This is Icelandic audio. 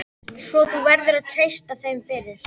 Svo þú verður að treysta þeim fyrir.